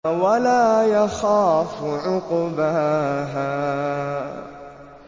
وَلَا يَخَافُ عُقْبَاهَا